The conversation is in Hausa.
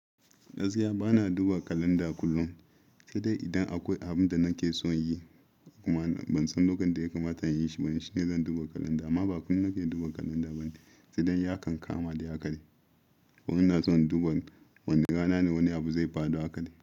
Gaskiya bana duba kalanda kullum, sai dai idan akwai abin da nake so in yi, kuma ban san lokacin da ya kamata in yi ba shine zan duba kalanda. Amma ba kullum nake duba kalanda ba ne, sai dai iya kan kama da akai. Wani na so in duba wane rana ne wani abu zai faɗo hakali.